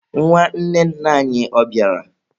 Nwanne nna anyi, ọ bịara?